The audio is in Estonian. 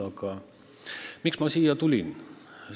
Aga miks ma siia pulti tulin?